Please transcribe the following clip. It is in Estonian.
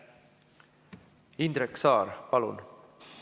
Indrek Saar, palun!